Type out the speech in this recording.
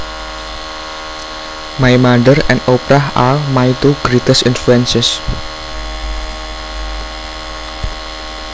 My mother and Oprah are my two greatest influences